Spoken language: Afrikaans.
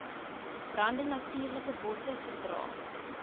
brande natuurlikebosse verdra